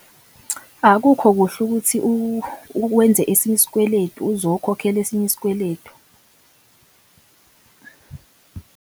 Akukho kuhle ukuthi wenze esinye isikweletu uzokhokhela esinye isikweletu.